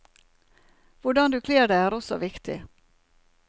Hvordan du kler deg er også viktig.